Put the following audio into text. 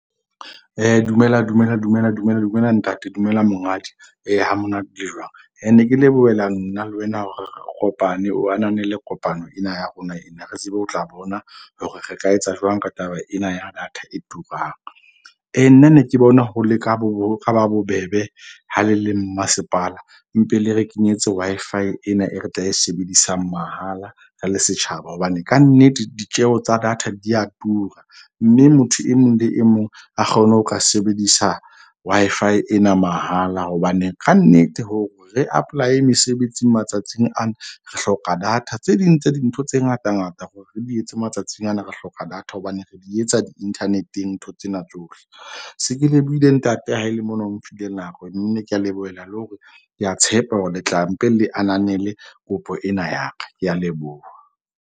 Dumelang dumelang dumelang, dumelang, dumelang ntate. Dumela monghadi ee ha monate le jwang? Ne ke lebohela nna le wena hore re kopane, o ananele kopano ena ya rona ena re tsebe ho tla bona hore re ka etsa jwang ka taba ena ya data e turang. Nna ne ke bona ho ho ba bobebe ha le le mmasepala. Mpe le re kenyetse Wi-Fi ena e re tla e sebedisang mahala re le setjhaba. Hobane kannete ditjeho tsa data di a tura. Mme motho e mong le e mong a kgone ho ka sebedisa Wi-Fi ena mahala. Hobane kannete hore re apply-e mesebetsing matsatsing ana, re hloka data. Tse ding tsa dintho tse ngata ngata hore re di etse matsatsing ana re hloka data. Hobane re di etsa di-internet-eng ntho tsena tsohle. Se ke lebohile ntate ha ele mona, o mphile nako nne, ka lebohela le hore ke a tshepa hore le tla mpe le ananele kopo ena ya ka. Ke a leboha.